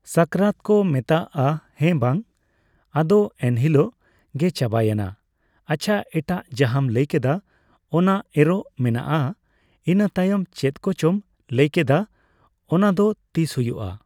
ᱥᱟᱠᱨᱟᱛ ᱠᱚ ᱢᱮᱛᱟᱜᱼᱟ ᱦᱮᱸ ᱵᱟᱝ ᱾ ᱟᱫᱚ ᱮᱱᱦᱤᱞᱳᱜ ᱜᱮ ᱪᱟᱵᱟᱭᱮᱱᱟ ᱾ ᱟᱪᱪᱷᱟ ᱮᱴᱟᱜ ᱡᱟᱦᱟᱸᱢ ᱞᱟᱹᱭ ᱠᱮᱫᱟ ᱚᱱᱟ ᱮᱨᱚᱜ ᱢᱮᱱᱟᱜᱼᱟ, ᱤᱱᱟᱹᱛᱟᱭᱚᱢ ᱪᱮᱫ ᱠᱚᱪᱚᱢ ᱞᱟᱹᱭ ᱠᱮᱫᱟ ᱚᱱᱟᱫᱚ ᱛᱤᱥ ᱦᱩᱭᱩᱜᱼᱟ ?